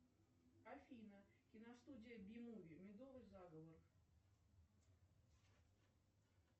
афина киностудия би муви медовый заговор